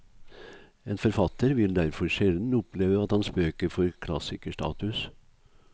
En forfatter vil derfor sjelden oppleve at hans bøker får klassikerstatus.